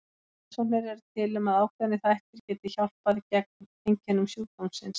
En rannsóknir eru til um að ákveðnir þættir geti hjálpað til gegn einkennum sjúkdómsins.